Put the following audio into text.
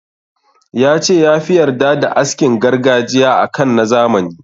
Ya ce ya fi yarda da askin gargajiya a kan na zamani.